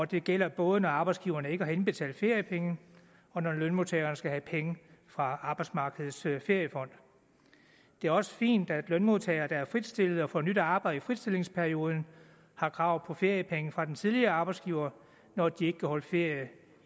det gælder både når arbejdsgiverne ikke har indbetalt feriepenge og når lønmodtageren skal have penge fra arbejdsmarkedets feriefond det er også fint at lønmodtagere der er fritstillet og får nyt arbejde i fritstillingsperioden har krav på feriepenge fra den tidligere arbejdsgiver når de ikke kan holde ferie